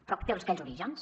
però té aquells orígens